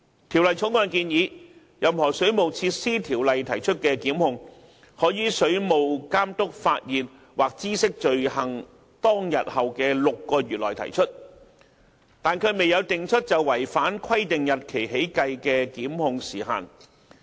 《條例草案》建議，任何《水務設施條例》提出的檢控，可於水務監督發現或知悉罪行當天後的6個月內提出，但卻未有訂出就違反規定日期起計的檢控時限。